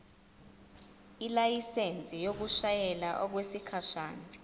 ilayisensi yokushayela okwesikhashana